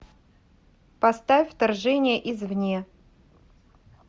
поставь вторжение извне